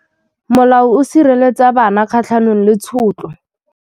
Molao o sireletsa bana kgatlhanong le tshotlo.